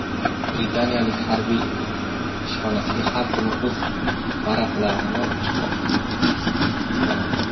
Britaniyalik harbiy ishxonasiga har kuni o‘z paraplanida uchib boradi .